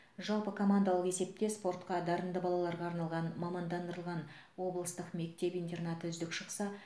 жалпыкомандалық есепте спортқа дарынды балаларға арналған мамандандырылған облыстық мектеп интернаты үздік шықса